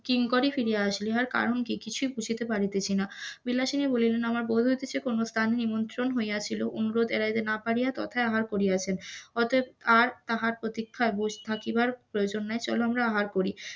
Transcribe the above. কিঙ্করই ফিরিয়া আসিলেন, কারণ কি কিছুই বুঝিতে পারিতেছি না? বিলাসিনী বলিলেন আমার বোধ হইতেছে কোন স্থানে নিমন্ত্রণ হইয়াছিল, অনুরোধ এড়াইতে না পারিয়া তথায় আহার করিয়াছে, অতএব আর তাহার প্রতীক্ষায় বসে থাকিবার প্রয়োজন নাই চল আমরা আহার করি,